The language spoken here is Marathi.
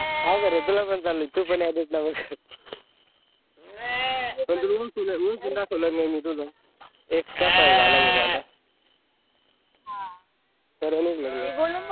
हाओ का रे तुला पण चालूये तुला पण यांच्यात ना मग तुझं x कसा हे झाला म्हणून आता हा तर